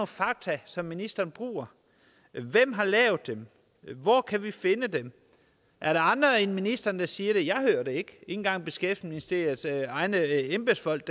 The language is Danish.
fakta som ministeren bruger hvem har lavet dem hvor kan vi finde dem er der andre end ministeren der siger det jeg hører det ikke ikke engang beskæftigelsesministeriets egne embedsfolk